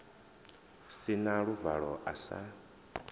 si na luvalo a sa